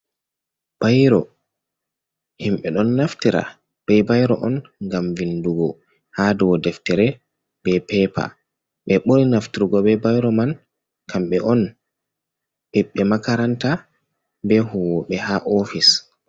Bairo himɓe ɗon naftira bei bairo on gam vindugo ha dou deftere be pepa, ɓe ɓuri nafturgo be bairo man, kamɓe on himɓe makaranta be huwoɓe ha ofis.